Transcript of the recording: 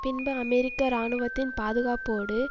பின்பு அமெரிக்க இராணுவத்தின் பாதுகாப்போடு